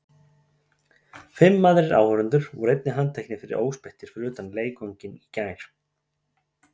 Fimm aðrir áhorfendur voru einnig handteknir fyrir óspektir fyrir utan leikvanginn í gær.